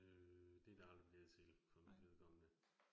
Øh det det aldrig blevet til for mit vedkommende